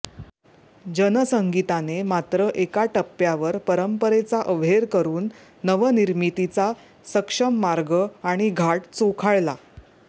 जनसंगीताने मात्र एका टप्प्यावर परंपरेचा अव्हेर करुन नवनिर्मितीचा सक्षम मार्ग आणि घाट चोखाळला